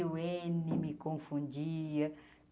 O ene me confundia.